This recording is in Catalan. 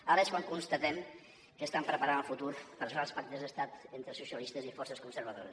ara és quan constatem que estan preparant el futur per arribar als pactes d’estat entre socialistes i forces conservadores